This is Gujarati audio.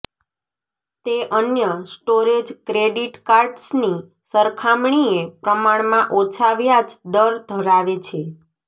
તે અન્ય સ્ટોરેજ ક્રેડિટ કાર્ડ્સની સરખામણીએ પ્રમાણમાં ઓછા વ્યાજ દર ધરાવે છે